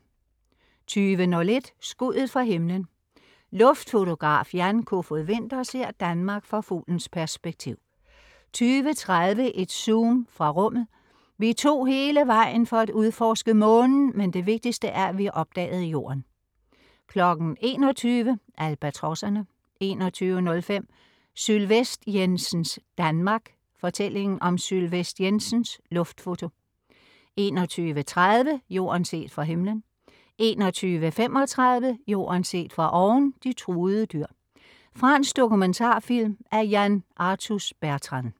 20.01 Skuddet fra himlen. Luftfotograf Jan Kofod Winther ser Danmark fra fuglens perspektiv 20.30 Et zoom fra rummet. "Vi tog hele vejen for at udforske Månen, men det vigtigste er, at vi opdagede Jorden" 21.00 Albatrosserne 21.05 Sylvest Jensens Danmark. Fortællingen om Sylvest Jensens Luftfoto 21.30 Jorden set fra himmelen 21.35 Jorden set fra oven: De truede dyr. Fransk dokumentarfilm af Yann Arthus-Bertrand